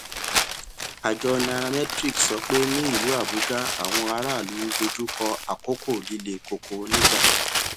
àjọ nairametrics sọ pé ní ìlú abuja àwọn aráàlú ń dojú kọ àkókò líle koko nígbà